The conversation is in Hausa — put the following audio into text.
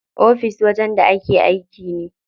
Ofis wajen da ake aiki ne.